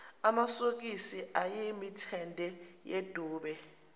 amasokisi ayemithende yedube